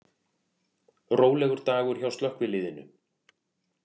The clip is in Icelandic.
Rólegur dagur hjá slökkviliðinu